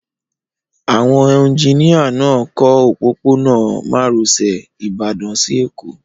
Àwọn eunjíníyà náà ń kọ́ òpópó-ọ̀nà márosẹ̀ Ìbàdàn si Èkó